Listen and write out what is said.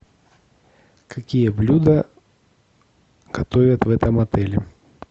какие блюда готовят в этом отеле